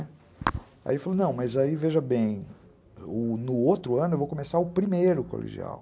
Aí ele falou, não, mas aí veja bem, no outro ano eu vou começar o primeiro colegial.